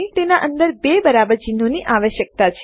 અમને તેના અંદર બે બરાબર ચિન્હોની આવશ્યકતા છે